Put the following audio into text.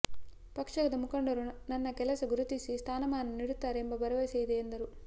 ಪಕ್ಷದ ಮುಖಂಡರು ನನ್ನ ಕೆಲಸ ಗುರುತಿಸಿ ಸ್ಥಾನಮಾನ ನೀಡುತ್ತಾರೆ ಎಂಬ ಭರವಸೆ ಇದೆ ಎಂದರು